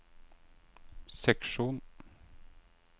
seksjon